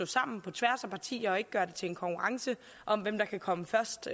sammen på tværs af partierne og ikke gøre det til en konkurrence om hvem der kan komme først